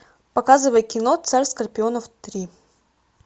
показывай кино царь скорпионов три